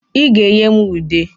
Ị ga-enye m ude.